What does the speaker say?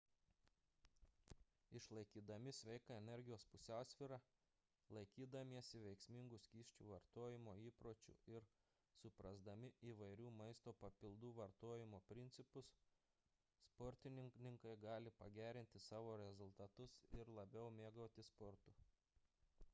išlaikydami sveiką energijos pusiausvyrą laikydamiesi veiksmingų skysčių vartojimo įpročių ir suprasdami įvairių maisto papildų vartojimo principus sportininkai gali pagerinti savo rezultatus ir labiau mėgautis sportu